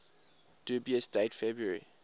dubious date february